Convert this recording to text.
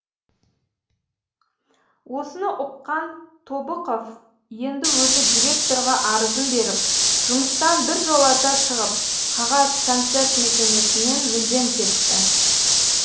осыны ұққан тобықов енді өзі директорға арызын беріп жұмыстан біржолата шығып қағаз концерт мекемесінен мүлдем кетті